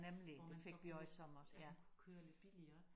Hvor man så kunne man kunne køre lidt billigere